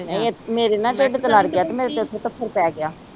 ਨਹੀਂ ਮੇਰੇ ਨਾ ਟਿਡ ਤੇ ਲੜ ਗਿਆ ਤੇ ਮੇਰੇ ਤੇ ਉੱਥੇ ਈ ਥਪ੍ਹੜ ਪੈ ਗਿਆ